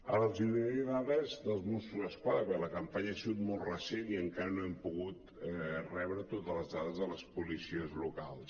ara els donaré dades dels mossos d’esquadra perquè la campanya ha sigut molt recent i encara no hem pogut rebre totes les dades de les policies locals